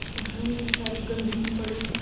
यहाँ निरी सारी गंदगी पड़ी है।